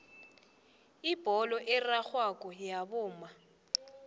ibholo erarhako wabomma